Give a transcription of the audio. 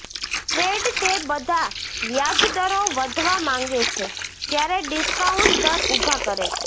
fed તે બધા વ્યાજ દરો વધવા માંગે છે ત્યારે ડિસ્કાઉન્ટ દર ઊભા કરે છે